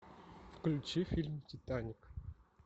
включи фильм титаник